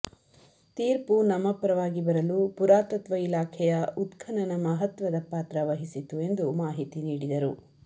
ತೀರ್ಪು ನಮ್ಮ ಪರವಾಗಿ ಬರಲು ಪುರಾತತ್ವ ಇಲಾಖೆಯ ಉತ್ಕನನ ಮಹತ್ವದ ಪಾತ್ರ ವಹಿಸಿತು ಎಂದು ಮಾಹಿತಿ ನೀಡಿದರು